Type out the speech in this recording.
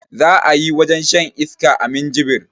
Za ayi wajen shan iska a minjibir